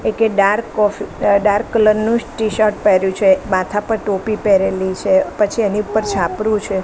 એકે dark coffee dark colour નુ t shirt પેર્યુ છે માથા પર ટોપી પેરેલી છે પછી એની ઉપર છાપરું છે.